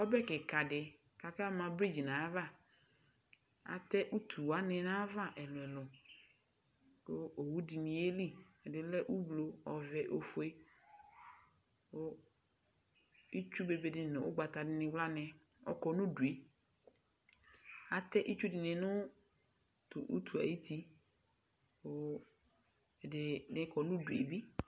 Ɔbɛ kikadi kakama bridge nayava Àte utuwani nayava ɛlu ɛlu kʋ owu dini'yeli Ɛdini le umlo, ɔvɛ, ofue ku itsubebeni nu ʋgbatanini wlani ɔlɔ nudue Atɛ itsudini nʋ tʋ utue ayʋti kʋ ɛdibi kɔnu'due bi